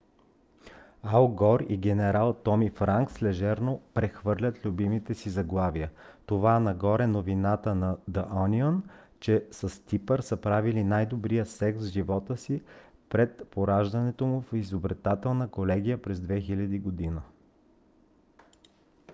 ал гор и генерал томи франкс лежерно прехвърлят любимите си заглавия това на гор е новината на the onion че с типър са правили най - добрия секс в живота си след поражението му в избирателната колегия през 2000 г.